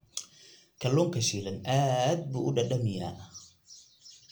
Kalluunka shiilan aad buu u dhadhamiyaa.